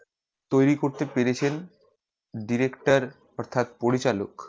তৈরি করতে পেরেছেন director অর্থ্যাৎ পরিচালক